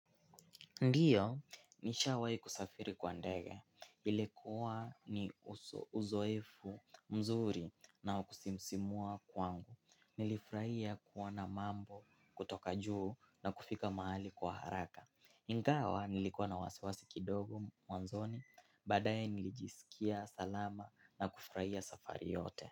Ndiyo, nishawai kusafiri kwa ndege. Ilikuwa ni uzoefu mzuri na wakusisimua kwangu. Nilifuraia kuona mambo kutoka juu na kufika mahali kwa haraka. Ingawa nilikuwa na wasiwasi kidogo mwanzoni, baadaye nilijisikia salama na kufuraia safari yote.